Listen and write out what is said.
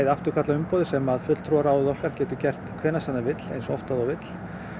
afturkalla umboðið sem að fulltrúaráðið okkar getur gert hvenær sem það vill og eins oft og það vill